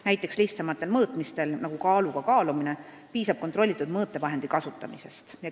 Näiteks lihtsamatel mõõtmistel, nagu kaaluga kaalumine, piisab kontrollitud mõõtevahendi kasutamisest.